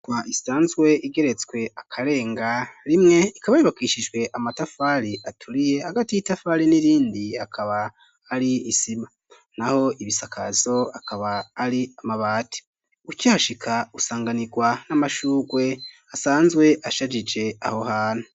Inyubakwa isanzwe igeretswe akarenga rimwe ikaba yubakishijwe amatafari aturiye hagati y'itafari n'irindi hakaba hari isima, naho ibisakazo akaba ari amabati, ukihashika usanganirwa n'amashugwe asanzwe ashajije aho hantu.